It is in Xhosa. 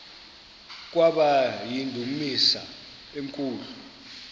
kwaba yindumasi enkulu